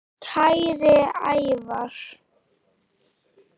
Kæri Ævar.